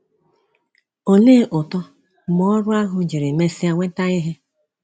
Olee ụtọ, mgbe ọrụ ahụ jiri mesịa nweta ihe!